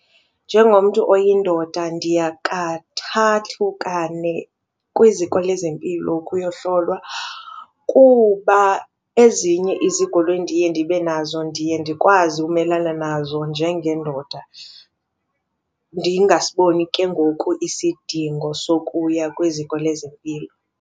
Njengomntu oyindoda ndiyakathathu, kane kwiziko lezempilo ukuyohlolwa kuba ezinye izigulo endiye ndibe nazo ndiye ndikwazi umelana nazo njengendoda ndingasiboni ke ngoku isidingo sokuya kwiziko lezempilo.